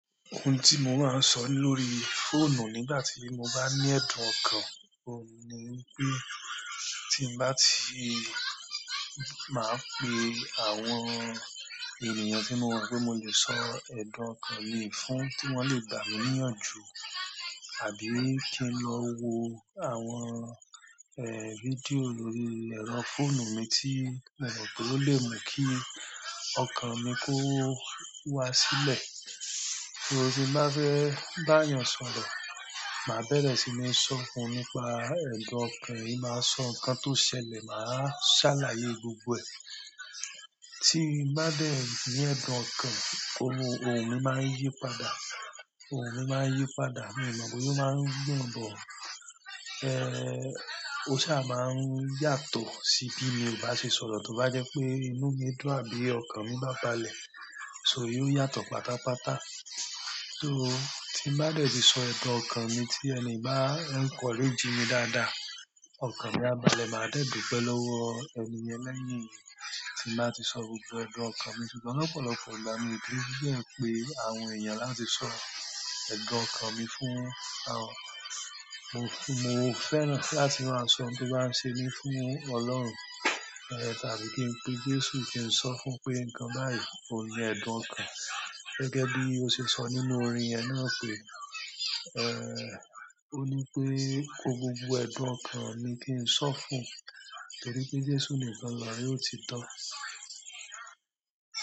Ohun tí mo máa ń sọ lórí fóònù nígbà tí mo bá ní ẹ̀dùn ọkàn, òun ní pé tí n bá ti màá pe àwọn ènìyàn tí mo mọ̀ pé mo lè sọ ẹ̀dùn ọkàn yìí fún tí wọ́n lè gbà mí níyànjú àbí kí n lọ wo àwọn, ẹǹ, fídíò lórí ẹ̀rọ fóònù mi tí, ẹ́, tó lè mú kí ọkàn mi kó wá sílẹ̀. Torí tí n bá fẹ́ bá yàn sọ̀rọ̀, màá bẹ̀rẹ̀ sí ní sọ fún un nípa a, ẹ̀dùn ọkàn mi, máa sọ nǹkan tó ṣẹlẹ̀, màá ṣàlàyé gbogbo ẹ̀. Tí n bá dẹ̀ ní ẹ̀dùn ọkàn, ohun mi máa ń yí padà, ohun mi máa ń yí padà, mi ò mọ̀ bóyá máa dùn bo, eh, mo sáà a máa ń yàtọ̀ sí bí mo bá ṣe sọ̀rọ̀ tó bá jẹ́ pé inú mi dùn àbí ọkàn mi bá balẹ̀. So, yóò yàtọ̀ pátápátá. So, tí n bá dẹ̀ ti sọ ẹ̀dọ̀ ọkàn mi tí ẹni bá ń kọrí ji mi dáadáa, ọkàn mi á balẹ̀, màá dẹ̀ dúpẹ́ lọ́wọ́ ènìyàn lẹ́yìn tí n bá ti sọ gbogbo ẹ̀dùn ọkàn mi. Ṣùgbọ́n lọ́pọ̀lọ́pọ̀ ìgbà mi ò lè rí bẹ́ẹ̀ pé àwọn ènìyàn láti sọ ẹ̀dùn ọkàn mi fún, àwọn, mo fẹ́ràn láti máa sọ nǹkan tó bá ń ṣẹ mí fún Ọlọ́run, eh, tàbí kí n pe Jésù kí n sọ fún un pé nǹkan báyìí òun ni ẹ̀dọ̀ ọkàn. Gẹ́gẹ́ bí ó ṣe sọ nínú orin yẹn náà pé, eh, ó ní pé "o gbogbo ẹ̀dùn ọkàn mi kí n sọ fún un." Torí pé Jésù nìkan lọ̀rẹ́ òtítọ́.